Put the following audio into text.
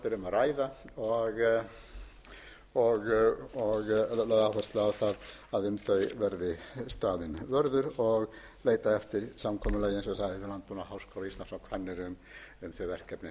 að ræða og lögð áhersla á það að um þau verði staðinn vörður og leitað eftir samkomulagi eins og ég sagði við landbúnaðarháskóla íslands